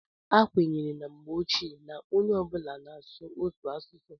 a kwenyere na mgbe ochie na onye ọ bụla na-asụ otu asụsụ